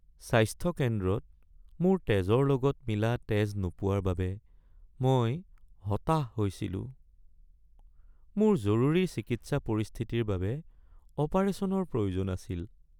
স্বাস্থ্য কেন্দ্ৰত মোৰ তেজৰ লগত মিলা তেজ নোপোৱাৰ বাবে মই হতাশ হৈছিলো। মোৰ জৰুৰী চিকিৎসা পৰিস্থিতিৰ বাবে অপাৰেশ্যনৰ প্ৰয়োজন আছিল।